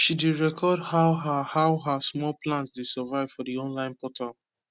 she dey record how her how her small plants dey survive for d online portal